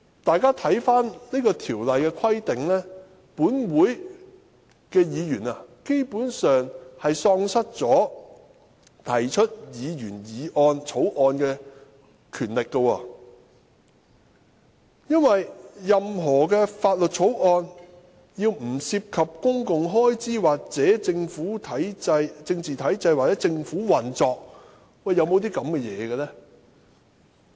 "大家看看這條的規定，便知本會議員基本上並無提出議員法案的權力，因為任何法案均須"不涉及公共開支或政治體制或政府運作"，有這樣的法案嗎？